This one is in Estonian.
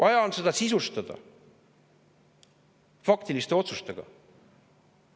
See on vaja sisustada faktiliste otsustega.